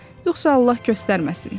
Yoxsa Allah göstərməsin.